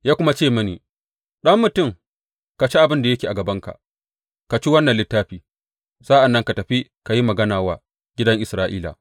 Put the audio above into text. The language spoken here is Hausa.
Ya kuma ce mini, Ɗan mutum, ka ci abin da yake a gabanka, ka ci wannan littafi; sa’an nan ka tafi ka yi magana wa gidan Isra’ila.